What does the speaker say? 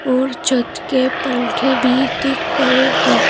और छत के पंखे भी दिख रहे हैं।